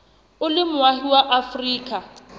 o le moahi wa afrika